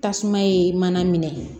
Tasuma ye mana minɛ